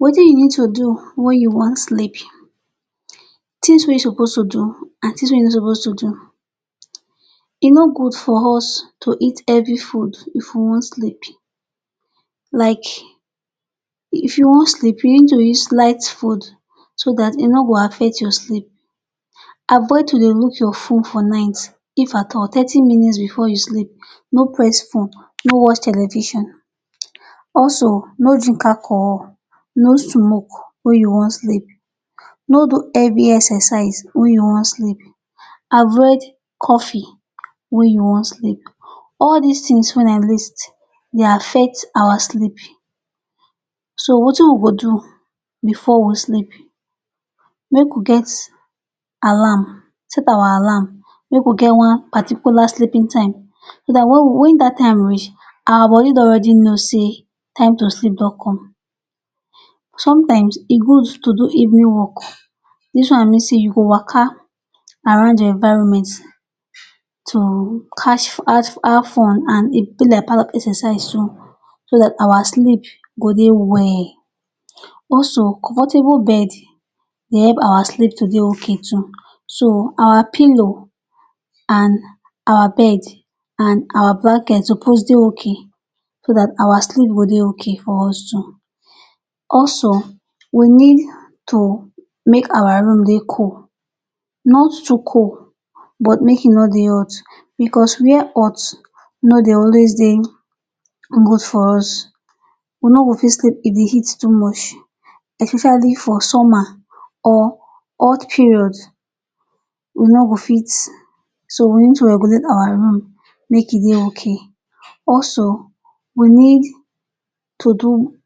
Wetin you need to do wen you wan sleep. Tins wey you suppose to do and tins wey you no suppose to do. E no good for us to eat heavy food if we wan sleep. Like if you wan sleep, you need to eat light food so dat e no go affect your sleep. Avoid to dey look your phone for night. If at all, thirty minutes bifor you sleep. No watch television also. Also no drink alcohol wen you wan sleep. No smoke wen you wan sleep. No do heavy exercise wen you wan sleep. Avoid coffee wen you wan sleep. All dis tins wey I list, e dey affect our sleep. So wetin we go do bifor we sleep? Make we get alarm. Set our alarm. Make we get one particular sleeping time so dat wen dat time reach, our body don already know say time to sleep don come. Somtimes e good to do evening walk. Dis one mean say you go waka around your environment to have fun and e be like part of exercise too so dat our sleep go dey well. Also, comfortable bed dey help our sleep to dey okay too. So our pillow and our beds and our blanket suppose dey okay so dat our sleep go dey okay for us too. Also we need to make our room dey cool, not too cool, but make e no dey hot, bicos wia hot no dey always dey good for us. We no go fit sleep in di heat too much, especially for summer or hot period. We no go fit. So we need to regulate our rooms make e dey okay. Also we need to do,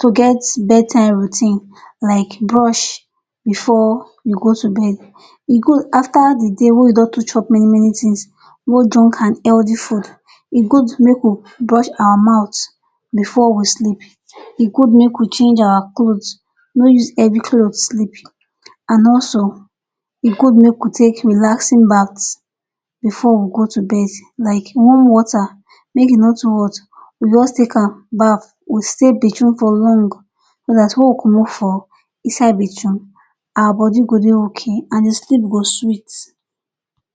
to get bedtime routine like brush bifor we go to bed. E good afta di day wen you don take chop many many tins, both junk and healthy foods, e good make we brush our mouth bifor we sleep. E good make we change our cloth. Make we no use heavy cloth sleep. And also e good make we take relaxing bath bifor we go to bed. Like warm water, make e no too hot. We go just take am bath, we stay bafroom for long, so dat wen we comot from inside bafroom, our body go dey okay and sleep go sweet.